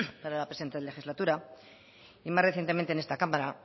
para la presenta legislatura y más recientemente en esta cámara